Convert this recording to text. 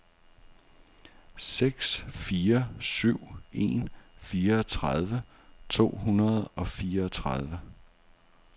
seks fire syv en fireogtredive to hundrede og fireogtredive